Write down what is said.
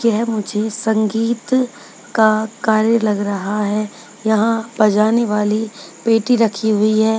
क्या मुझे संगीत का कार्य लग रहा है यहां बजाने वाली पेटी रखी हुई है।